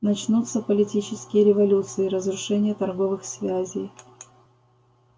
начнутся политические революции разрушение торговых связей